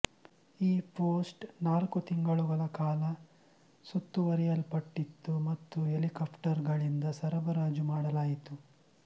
ಈ ಪೋಸ್ಟ್ ನಾಲ್ಕು ತಿಂಗಳುಗಳ ಕಾಲ ಸುತ್ತುವರಿಯಲ್ಪಟ್ಟಿತು ಮತ್ತು ಹೆಲಿಕಾಪ್ಟರ್ಗಳಿಂದ ಸರಬರಾಜು ಮಾಡಲಾಯಿತು